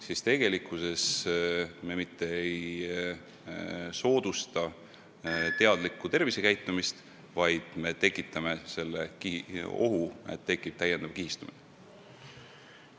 Seega tegelikult me mitte ei soodusta teadlikku tervisekäitumist, vaid tekitame täiendava kihistumise ohu.